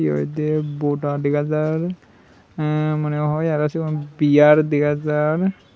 eyot day boda dega jar eh mone hoi segun bear dega jar.